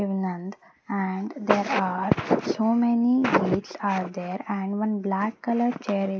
nand and there are so many gates are there and one black colour chair i --